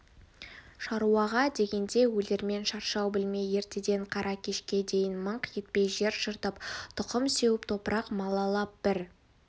шаруаға дегенде өлермен шаршау білмей ертеден қара кешке дейін мыңқ етпей жер жыртып тұқым сеуіп топырақ малалап бір